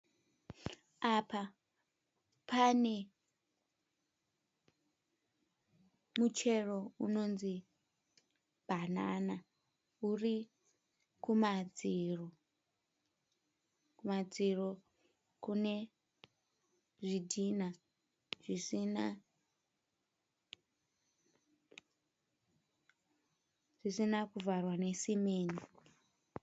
Apa pane muchero unonzi bhanana uri kumadziro. Kumadziro kune zvidhinha zvisina kuvharwa nesimende.